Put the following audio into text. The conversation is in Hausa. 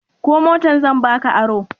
Ko motar zan ba ka aro?